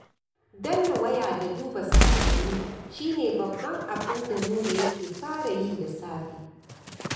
Danna waya da duba saƙonni shi ne babban abin da Nura yake fara yi da safe